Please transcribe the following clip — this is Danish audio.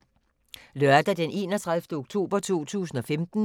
Lørdag d. 31. oktober 2015